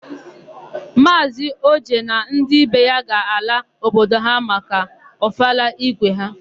Maazị Oje na ndị be ya ga-ala obodo ha maka ọfala ígwé ha.